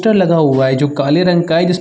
-टर लगा हुआ है जो काले रंग का है जिस --